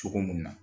Cogo mun na